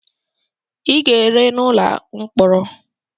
Ị ga-ere n'ụlọ mkpọrọ!